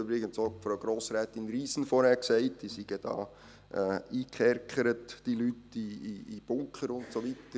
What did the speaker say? Übrigens hat Frau Grossrätin Riesen vorhin auch gesagt, diese Leute seien da eingekerkert, in Bunkern und so weiter.